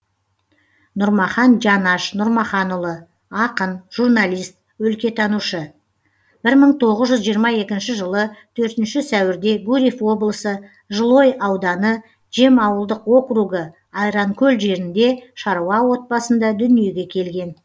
нұрмахан жанаш нұрмаханұлы ақын журналист өлкетанушы бір мың тоғыз жүз жиырма екінші жылы төртінші сәуірде гурьев облысы жылой ауданы жем ауылдық округі айранкөл жерінде шаруа отбасында дүниеге келген